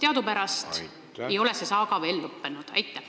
Teadupärast ei ole see saaga veel lõppenud?